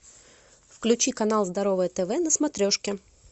включи канал здоровое тв на смотрешке